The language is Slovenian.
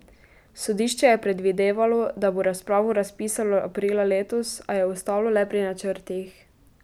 Sodišče je predvidevalo, da bo razpravo razpisalo aprila letos, a je ostalo le pri načrtih.